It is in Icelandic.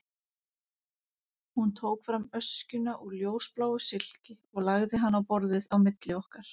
Hún tók fram öskjuna úr ljósbláu silki og lagði hana á borðið á milli okkar.